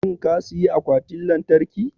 shin ka siyi Akwatin Lantarki?